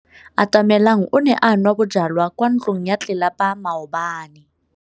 Atamelang o ne a nwa bojwala kwa ntlong ya tlelapa maobane.